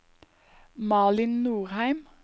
Malin Norheim